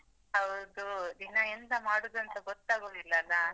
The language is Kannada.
ಹೌದು, ದಿನಾ ಎಂತ ಮಾಡುದಂತ ಗೊತ್ತಾಗುದಿಲಲ್ಲಾ.